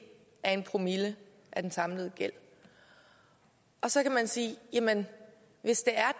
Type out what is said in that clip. af en promille af den samlede gæld så kan man sige jamen hvis det er